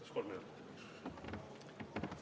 Kas kolm minutit lisaaega saab?